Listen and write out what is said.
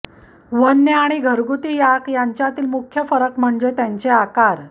वन्य आणि घरगुती याक यांतील मुख्य फरक म्हणजे त्यांचे आकार